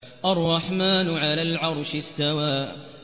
الرَّحْمَٰنُ عَلَى الْعَرْشِ اسْتَوَىٰ